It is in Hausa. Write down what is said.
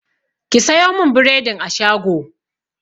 Ki sayo min bredin a shago!